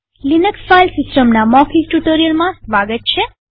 Linux file સિસ્ટમના મૌખિક ટ્યુ્ટોરીઅલમાં સ્વાગત છે